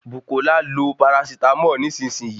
Bukola lo parasitámọ̀ nísìsiyìí